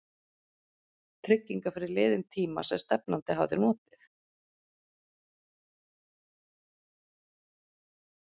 trygginga fyrir liðinn tíma sem stefnandi hafi notið?